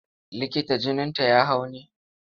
Likita jininta ya hau ne?